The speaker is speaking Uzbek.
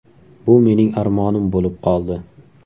Bu mening armonim bo‘lib qoldi.